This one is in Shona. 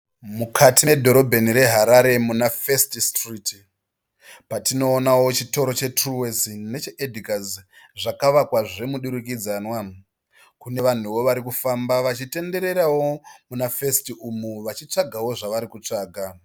Mukati medhorobheni reHarare munaFirst Street, patinoonawo chitoro cheTruworths necheEdgars zvakavakwa zvemudurukidzanwa. Kune vanhuwo varikufamba vachitendererawo munaFirst umu vachitsvagawo zvavari kutsvaga.